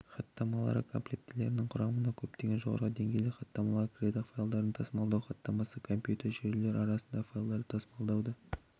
хаттамалары комплектілерінің құрамына көптеген жоғары деңгейлі хаттамалар кіреді файлдарды тасымалдау хаттамасы компьютер жүйелері арасында файлдарды тасымалдауды